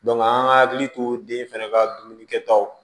an ka hakili to den fɛnɛ ka dumuni kɛtaw